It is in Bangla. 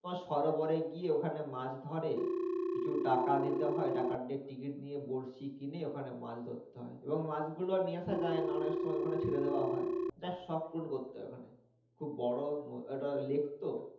তোমার সরোবরে গিয়ে ওখানে মাছ ধরে। কিছু টাকা দিতে হয় ticket নিয়ে বড়শি কিনে ওখানে মাছ ধরতে হয়। এবং মাছ গুলো নিয়ে আশা যায় না অনেক সময় ওখানে ছেড়ে দেওয়া হয়। just শখ পূরণ করতে হয় ওখানে খুব বড়ো ওটা লেক তো